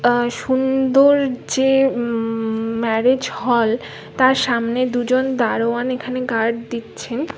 আ- সুন্দর যে উম-ম-ম ম্যারেজ হল তার সামনে দুজন দারোয়ান এখানে গার্ড দিচ্ছে।